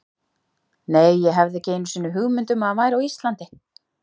Nei, ég hafði ekki einu sinni hugmynd um að hann væri á Íslandi.